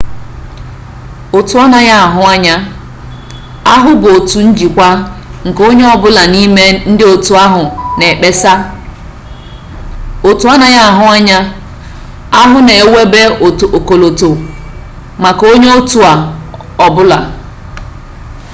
otu anaghị ahụ anya ahụ bụ otu njikwa nke onye ọ bụla n'ime ndịotu ahụ na-ekpesa otu anaghị ahụ anya ahụ na-ewube ọkọlọtọ maka onyeotu ọ bụla